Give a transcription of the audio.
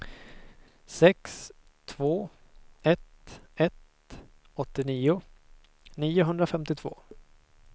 sex två ett ett åttionio niohundrafemtiotvå